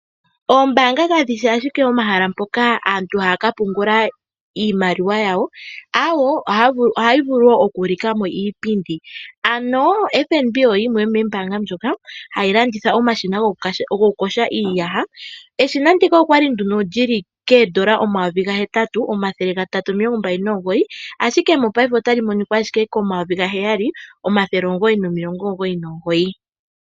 Ombaanga kadhi shi ashike omahala mpoka aantu haya ka pungula iimaliwa yawo, awoo, ohayi vulu wo oku ulika mo iipundi, ano FNB oyo yimwe yomoombanga ndhoka hayi landitha omashina gokuyoga iiyaha. Eshina ndika okwa li nduno lyili koondola omayovi gahetatu omathele gatatu omilongo mbali nomugoyi, ashike mopaife otali monika ashike komayovi gaheyali omathele omugoyi nomilongo omugoyi nomugoyi.